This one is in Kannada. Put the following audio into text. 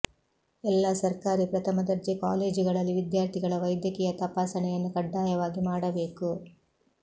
ಎಲ್ಲ ಸರ್ಕಾರಿ ಪ್ರಥಮ ದರ್ಜೆ ಕಾಲೇಜುಗಳಲ್ಲಿ ವಿದ್ಯಾರ್ಥಿಗಳ ವೈದ್ಯಕೀಯ ತಪಾಸಣೆಯನ್ನು ಕಡ್ಡಾಯವಾಗಿ ಮಾಡಬೇಕು